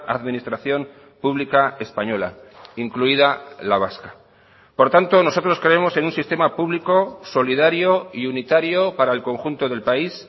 administración pública española incluida la vasca por tanto nosotros creemos en un sistema público solidario y unitario para el conjunto del país